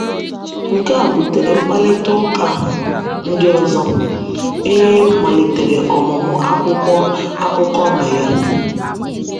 Nke a butere mkparịta ụka ndị ọzọ, e e malitere ọmụmụ akwụkwọ akụkọ na ya.